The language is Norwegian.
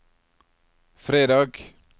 fredag